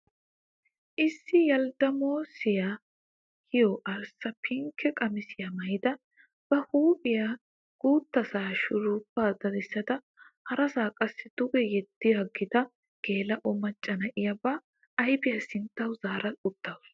Issi yaldamoossiya giyo arssa, pinkke qamissiyaa maayida, ba huupphiya guttasaa shurubaa dadissada harasaa qassi duge yeddaagida geela'o macca na'iyaa ba ayfiya sinttawu zaara uttasu.